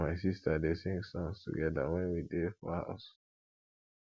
me and my sista dey sing songs togeda wen we dey for house